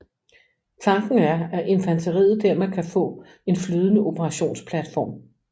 Tanken er at infanteriet dermed kan få en flydende operationsplatform